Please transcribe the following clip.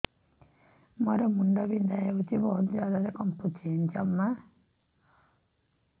ମୋର ମୁଣ୍ଡ ବିନ୍ଧା ହଉଛି ବହୁତ ଜୋରରେ କମୁନି ଜମା